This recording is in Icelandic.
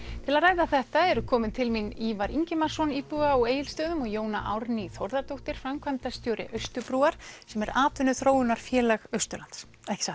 til að ræða þetta eru komin til mín Ívar Ingimarsson íbúi á Egilsstöðum og Jóna Árný Þórðardóttir framkvæmdastjóri Austurbrúar sem er atvinnuþróunarfélag Austurlands